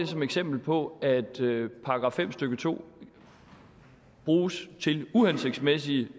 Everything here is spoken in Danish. som eksempel på at § fem stykke to bruges til uhensigtsmæssige